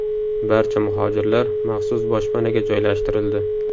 Barcha muhojirlar maxsus boshpanaga joylashtirildi.